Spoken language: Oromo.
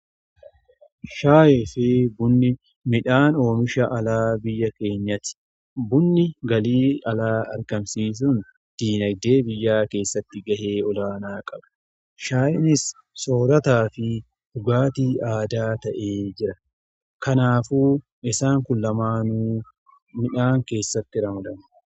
Shaaye fi bunni midhaan oomisha alaa biyya keenyati bunni galii alaa argamsiisun diinagdee biyyaa keessatti ga'ee olaanaa qaba shaa'enis soorataa fi dhugaatii aadaa ta'e jira. Kanaafu isaan kun lamaanuu midhaan keessatti ramadamu.